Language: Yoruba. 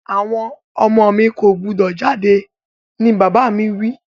Àwon ọmọ mi ko gbúdọ̀ jáde ni bàbà mi wi